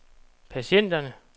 patienterne